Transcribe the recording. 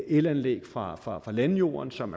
elanlæg fra fra landjorden som